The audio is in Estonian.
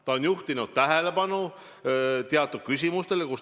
Ta on juhtinud tähelepanu teatud küsimustele.